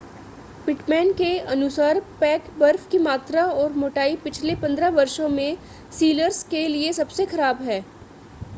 Pitman के अनुसार pack बर्फ की मात्रा और मोटाई पिछले 15 वर्षों में सीलर्स के लिए सबसे ख़राब है